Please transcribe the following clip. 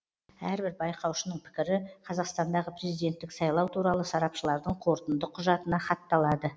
әрбір байқаушының пікірі қазақстандағы президенттік сайлау туралы сарапшылардың қорытынды құжатына хатталады